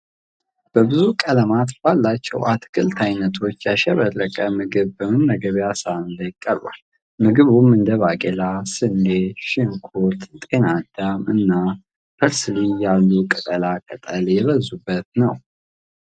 በብዙ ቀለማት ባላቸው አትክልት አይነቶች ያሸበረቀ ምግብ በመመገቢያ ሳህኑ ላይ ቀርቧል። ምግቡም እንደ ባቄላ፣ ስንዴ፣ ሽንኩርት፣ ጤና አዳም እና ፐርስሊ ያሉ ቅጠላ ቅጠል የበዙበት ነው።